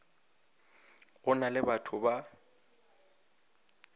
go na le batho ba